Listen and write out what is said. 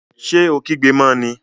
Ṣé o kígbe mọ ní?